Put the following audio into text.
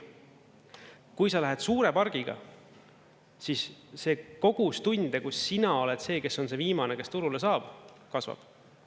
Kui sa lähed suure pargiga, siis see kogus tunde, kus sina oled see, kes on see viimane, kes turule saab, kasvab.